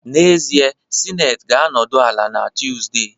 N'ezie, Senate ga-anọdụ ala na Tuesday